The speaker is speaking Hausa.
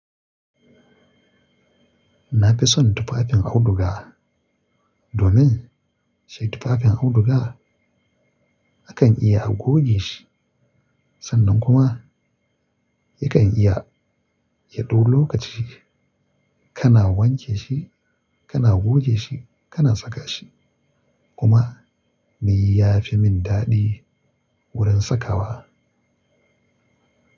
Na fi son tufafin auduga domin shi tufafin auduga akan iya a goge shi sannan kuma yakan iya yaɗau lokaci. Kana wanke shi, kana goge shi, kana saka shi kuma me ya fi min daɗi wurin sakawa.